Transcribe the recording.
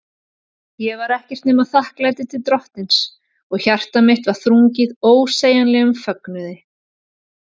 Ég var ekkert nema þakklæti til Drottins, og hjarta mitt var þrungið ósegjanlegum fögnuði.